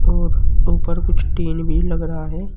और ऊपर कुछ टीन भी लग रहा है।